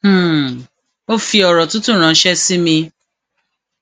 um ó fi òrò tútù ránṣẹ sí mi